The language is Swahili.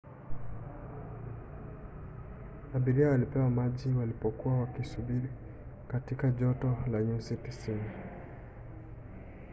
abiria walipewa maji walipokuwa wakisubiri katika joto la nyusi 90